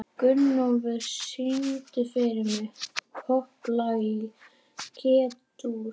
Gunnólfur, syngdu fyrir mig „Popplag í G-dúr“.